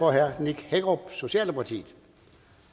herre nick hækkerup socialdemokratiet